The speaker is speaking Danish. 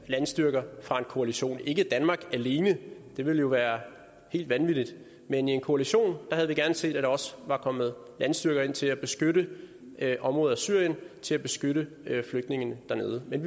landstyrker fra en koalition ikke fra danmark alene det ville jo være helt vanvittigt men i en koalition havde vi gerne set at der også var kommet landstyrker ind til at beskytte områder i syrien til at beskytte flygtningene dernede men